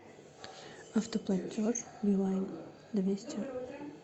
автоплатеж билайн двести